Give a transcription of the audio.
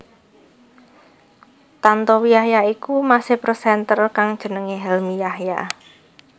Tantowi Yahya iku mase presenter kang jenengé Helmi Yahya